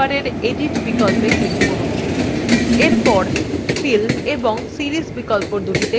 এখন মেনুবারের edit click করুন bar fill এবং series বিকল্পদুটিতে click করুন